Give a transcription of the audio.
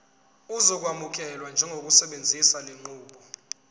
uzokwamukelwa njengosebenzisa lenqubo